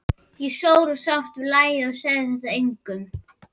Ég sór og sárt við lagði að segja þetta engum.